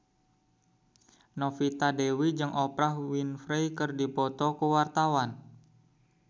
Novita Dewi jeung Oprah Winfrey keur dipoto ku wartawan